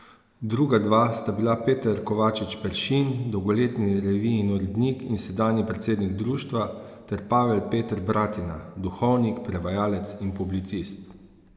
Druga dva sta bila Peter Kovačič Peršin, dolgoletni revijin urednik in sedanji predsednik društva, ter Pavel Peter Bratina, duhovnik, prevajalec in publicist.